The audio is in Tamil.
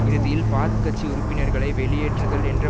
இறுதியில் பாத் கட்சி உறுப்பினர்களை வெளியேற்றுதல் என்ற